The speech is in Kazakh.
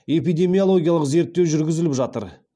эпедемиологиялық зерттеу жүргізіліп жатыр